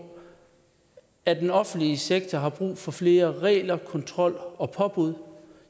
at den offentlige sektor har brug for flere regler kontrol og påbud